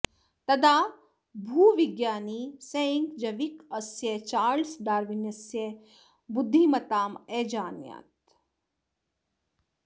तदा भूविज्ञानी सेड्जविक् अस्य चार्ल्स डार्विनस्य बुद्धिमत्ताम् अजानात्